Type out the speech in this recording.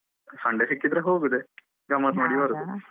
Sunday ಸಿಕ್ಕಿದ್ರೆ ಹೋಗುದೆ ಗಮ್ಮತ್ ಮಾಡಿ ಬರುದು.